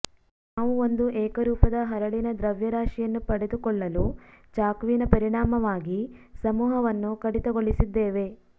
ನಾವು ಒಂದು ಏಕರೂಪದ ಹರಳಿನ ದ್ರವ್ಯರಾಶಿಯನ್ನು ಪಡೆದುಕೊಳ್ಳಲು ಚಾಕುವಿನ ಪರಿಣಾಮವಾಗಿ ಸಮೂಹವನ್ನು ಕಡಿತಗೊಳಿಸಿದ್ದೇವೆ